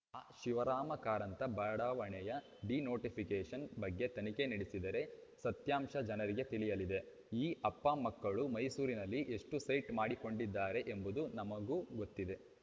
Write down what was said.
ಆ ಶಿವರಾಮ ಕಾರಂತ ಬಡಾವಣೆಯ ಡಿನೋಟಿಫಿಕೇಷನ್‌ ಬಗ್ಗೆ ತನಿಖೆ ನಡೆಸಿದರೆ ಸತ್ಯಾಂಶ ಜನರಿಗೆ ತಿಳಿಯಲಿದೆ ಈ ಅಪ್ಪಮಕ್ಕಳು ಮೈಸೂರಿನಲ್ಲಿ ಎಷ್ಟುಸೈಟು ಮಾಡಿಕೊಂಡಿದ್ದಾರೆ ಎಂಬುದು ನಮಗೂ ಗೊತ್ತಿದೆ